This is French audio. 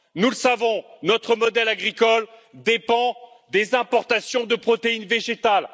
Nous le savons, notre modèle agricole dépend des importations de protéines végétales.